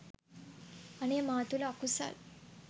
අනේ මා තුළ අකුසල්